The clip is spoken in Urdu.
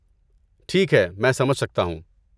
ٹھیک ہے، میں سمجھ سکتا ہوں۔